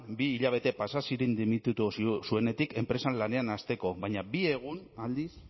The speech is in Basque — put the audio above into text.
bi hilabete pasa ziren dimititu zuenetik enpresan lanean hasteko baina bi egun aldiz